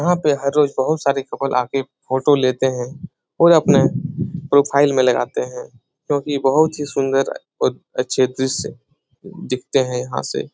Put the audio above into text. यहाँ पे हर रोज बहुत सारे कपल आके फोटो लेते हैं और अपने प्रोफाइल में लगाते है क्योंकि बहुत ही सुन्दर और अच्छे दृश्य दिखते हैं यहाँ से।